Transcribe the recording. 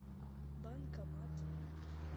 банкомат